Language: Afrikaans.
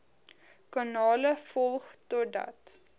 kanale volg totdat